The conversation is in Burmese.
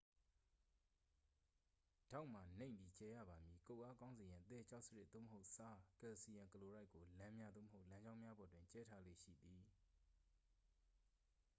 ဒေါက်မှာ နိမ့်ပြီး ကျယ်ရပါမည်။ ကုတ်အားကောင်းစေရန် သဲ၊ ကျောက်စရစ် သို့မဟုတ် ဆား ကယ်လ်ဆီယမ်ကလိုရိုက် ကို လမ်းများ သို့မဟုတ် လမ်းကြောင်းများပေါ်တွင် ကြဲထားလေ့ရှိသည်။